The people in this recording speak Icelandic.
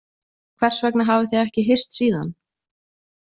Hvers vegna hafið þið ekki hist síðan?